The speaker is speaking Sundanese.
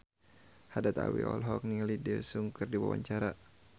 Haddad Alwi olohok ningali Daesung keur diwawancara